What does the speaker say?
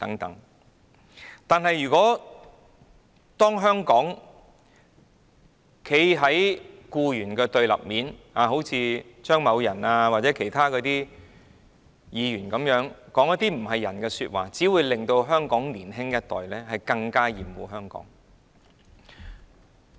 但是，如果政府站在僱員的對立面，好像張議員或其他議員般，說一些涼薄說話，只會令香港年輕一代更厭惡香港。